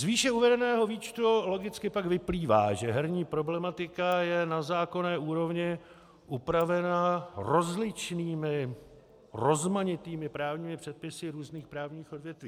Z výše uvedeného výčtu logicky pak vyplývá, že herní problematika je na zákonné úrovni upravena rozličnými rozmanitými právními předpisy různých právních odvětví.